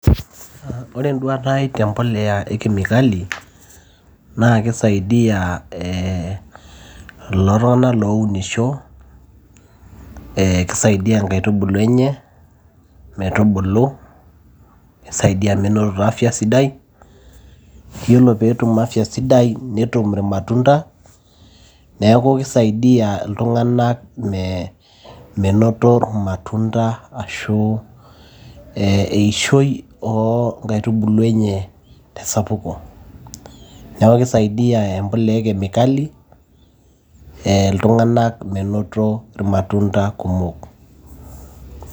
Aa ore enduata ai tempoleya e kemikali naa kisaidia ee kulo tung'anak lounisho eekisaidia inkaitubulu enye metubulu nisaidia menotito afya sidai yiolo peetum afya sidai netum irmatunda neeku kisaidia iltung'anak menoto irmatunda ashu ee eishoi oonkaitubulu enye tesapuko neeku kisaidia empuliya e kemikali ee iltung'anak menoto irmatunda kumok.